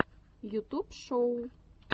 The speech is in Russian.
ютуб шоу